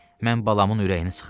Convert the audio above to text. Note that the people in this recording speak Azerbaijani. Mən balamın ürəyini sıxım?